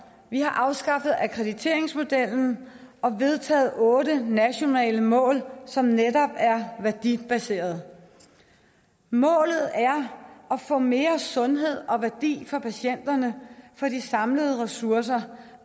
vi har afskaffet akkrediteringsmodellen og vedtaget otte nationale mål som netop er værdibaserede målet er at få mere sundhed og værdi for patienterne for de samlede ressourcer